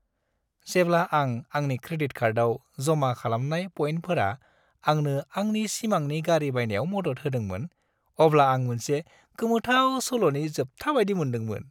जेब्ला आं आंनि क्रेडिट कार्डआव जमा खालामनाय पइन्टफोरा आंनो आंनि सिमांनि गारि बायनायाव मदद होदोंमोन, अब्ला आं मोनसे गोमोथाव सल'नि जोबथा बायदि मोन्दोंमोन।